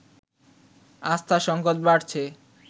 আস্থার সংকট বাড়ছে